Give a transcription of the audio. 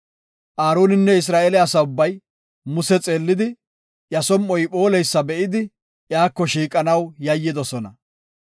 Aaroninne Isra7eele asa ubbay Muse xeellidi, iya som7oy phooleysa be7idi, iyako shiiqanaw yayyidosona.